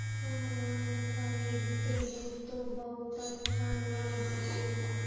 सामान खरीदते है तो बहोत अच्छा नल हमें लगता --